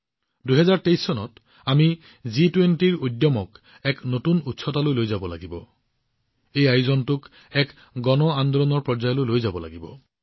২০২৩ চনত আমি জি২০ৰ গৰিমাক নতুন উচ্চতালৈ লৈ যাব লাগিব এই অনুষ্ঠানটোক এক গণ আন্দোলন হিচাপে গঢ়ি তোলক